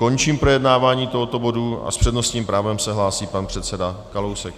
Končím projednávání tohoto bodu a s přednostním právem se hlásí pan předseda Kalousek.